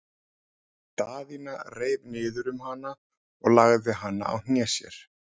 Daðína reif niður um hana og lagði hana á hné sér.